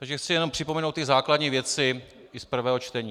Takže chci jenom připomenout ty základní věci i z prvého čtení.